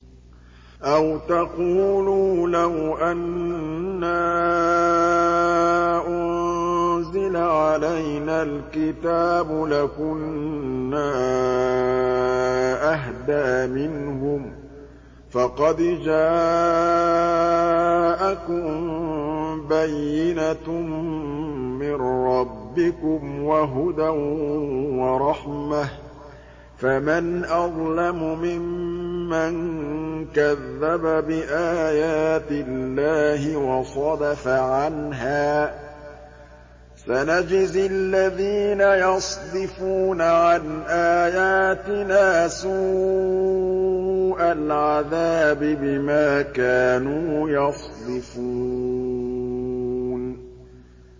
أَوْ تَقُولُوا لَوْ أَنَّا أُنزِلَ عَلَيْنَا الْكِتَابُ لَكُنَّا أَهْدَىٰ مِنْهُمْ ۚ فَقَدْ جَاءَكُم بَيِّنَةٌ مِّن رَّبِّكُمْ وَهُدًى وَرَحْمَةٌ ۚ فَمَنْ أَظْلَمُ مِمَّن كَذَّبَ بِآيَاتِ اللَّهِ وَصَدَفَ عَنْهَا ۗ سَنَجْزِي الَّذِينَ يَصْدِفُونَ عَنْ آيَاتِنَا سُوءَ الْعَذَابِ بِمَا كَانُوا يَصْدِفُونَ